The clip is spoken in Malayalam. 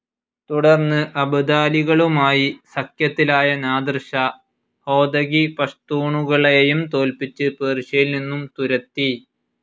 തുടർന്ന് അബ്ദാലികളുമായി സഖ്യത്തിലായ നാദിർ ഷാ, ഹോതകി പഷ്തൂണുകളെയും തോൽപ്പിച്ച് പേർഷ്യയിൽ നിന്നും തുരത്തി.